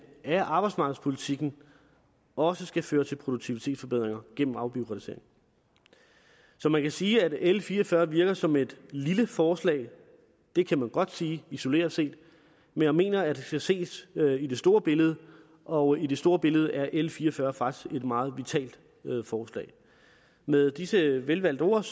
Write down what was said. af arbejdsmarkedspolitikken også skal føre til produktivitetsforbedringer gennem afbureaukratisering så man kan sige at l fire og fyrre virker som et lille forslag det kan man godt sige isoleret set men jeg mener at det skal ses i det store billede og i det store billede er l fire og fyrre faktisk et meget vitalt forslag med disse velvalgte ord